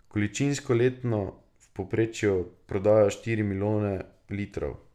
Količinsko letno v povprečju prodajo štiri milijone litrov.